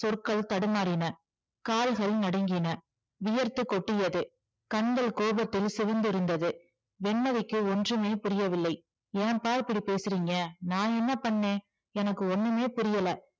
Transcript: சொற்கள் தடுமாறின, கால்கள் நடுங்கின வியர்த்து கொட்டியது கண்கள் கோபத்தில் சிவந்திருந்தது வெண்மதிக்கு ஒன்றுமே புரியவில்லை ஏம்பா இப்படி பேசுறீங்க நான் என்ன பண்ணுனேன் எனக்கு ஒன்னுமே புரியல